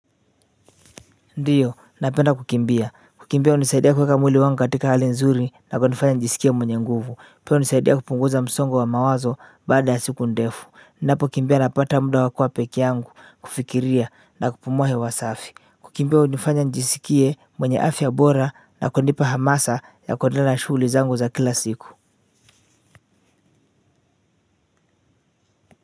Ndiyo napenda kukimbia kukimbia hunisaidia kuweka mwili wangu katika hali nzuri na kunifanya nijisikie mwenye nguvu pia hunisaidia kupunguza msongo wa mawazo baada ya siku ndefu ninapokimbia napata muda wa kuwa pekee yangu kufikiria na kupumua hewa safi kukimbia hunifanya njisikie mwenye afya bora na kunipa hamasa ya kuendelea shughuli zangu za kila siku kwa hiyo.